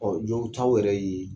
Ɔ jɔw taw yɛrɛ ye